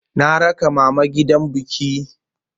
Na raka mama gidan biki.